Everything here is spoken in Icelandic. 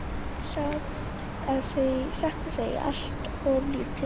Satt að segja allt of lítið.